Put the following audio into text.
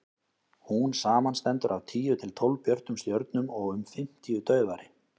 hún samanstendur af tíu til tólf björtum stjörnum og um fimmtíu daufari